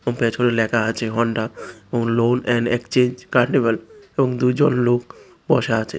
এবং পেছনে লেখা আছে Honda loan and exchange carnival এবং দুজন লোক বসা আছে।